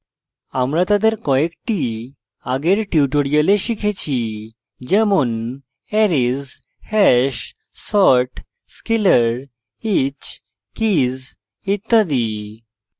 আমরা তাদের কয়েকটি আগের tutorials শিখেছি যেমনarrays hash sort scalar each keys ইত্যাদি